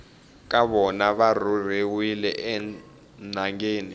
ka vona va rhurheriwile enhangeni